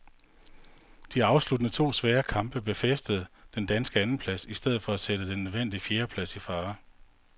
De afsluttende to svære kamp befæstede den danske andenplads i stedet for at sætte den nødvendige fjerdeplads i fare.